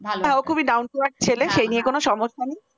খুব down তো earth ছেলে এই নিয়ে কোন সমস্যা নেই ।